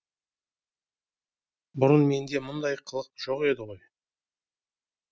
бұрын менде мұндай қылық жоқ еді ғой